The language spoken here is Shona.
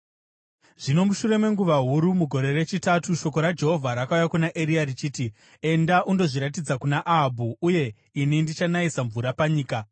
Zvino mushure menguva huru, mugore rechitatu, shoko raJehovha rakauya kuna Eria richiti, “Enda undozviratidza kuna Ahabhu, uye ini ndichanayisa mvura panyika.”